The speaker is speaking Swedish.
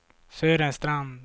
Sören Strand